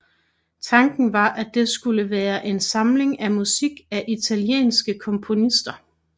Tanken var at det skulle være en samling af musik af italienske komponister